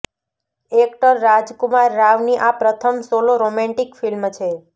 actor Rajkumar રાવની આ પ્રથમ સોલો રોમેન્ટિક ફિલ્મ છે